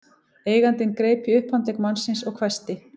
Eigandinn greip í upphandlegg mannsins og hvæsti